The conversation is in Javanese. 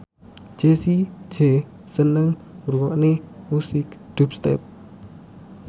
Jessie J seneng ngrungokne musik dubstep